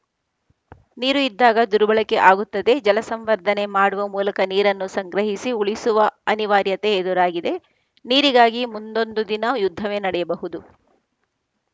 ನೀರು ಇದ್ದಾಗ ದುರ್ಬಳಕೆ ಆಗುತ್ತದೆ ಜಲ ಸಂವರ್ಧನೆ ಮಾಡುವ ಮೂಲಕ ನೀರನ್ನು ಸಂಗ್ರಹಿಸಿ ಉಳಿಸುವ ಅನಿವಾರ್ಯತೆ ಎದುರಾಗಿದೆ ನೀರಿಗಾಗಿ ಮುಂದೊಂದು ದಿನ ಯುದ್ಧವೇ ನಡೆಯಬಹುದು